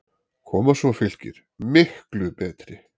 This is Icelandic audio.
Koma svo Fylkir, MIKLU betri!